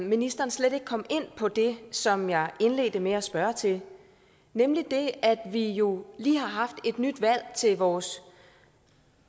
ministeren slet ikke kom ind på det som jeg indledte med at spørge til nemlig at vi jo lige har haft et nyt valg til vores